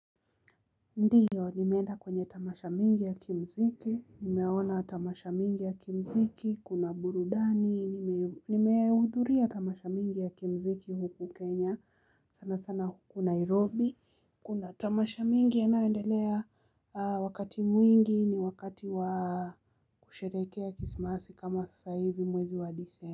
Ndiyo, nimeenda kwenye tamasha mingi ya kimziki, nimeona tamasha mingi ya kimziki, kuna burudani, nimehudhuria tamasha mingi ya kimziki huku Kenya, sana sana huku Nairobi. Kuna tamasha mingi yanayoendelea wakati mwingi ni wakati wa kusherehekea Krismasi kama sasa hivi mwezi wa Disemba.